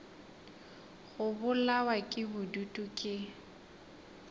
go bolawa ke bodutu ke